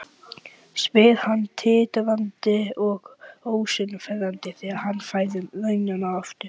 Hann kann örugglega mörg hundruð vísur um þá líka.